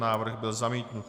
Návrh byl zamítnut.